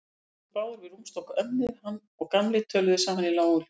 Þeir stóðu báðir við rúmstokk ömmu, hann og Gamli, og töluðu saman í lágum hljóðum.